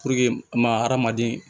ma hadamaden